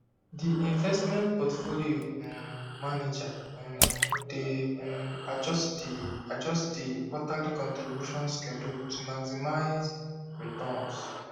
di investment portfolio um manager um dey um adjust di adjust di quarterly contribution schedule to maximize returns